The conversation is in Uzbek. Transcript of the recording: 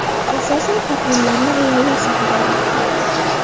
Asosan taqvimlarni ayollar sotib olmoqda.